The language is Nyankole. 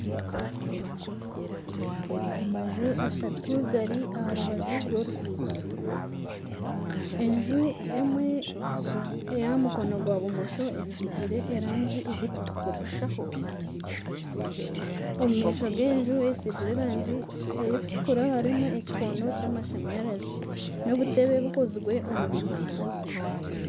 Amaju ashatu gari aha rubaju rw'oruguuto enju emwe ekyahamukono gwa bumosho esigire erangi erikutukura, omu maisho g'enju esigire erangi erikutukura harimu ekikondo kyamashanyarazi nana obutebe obukozirwe omu biti .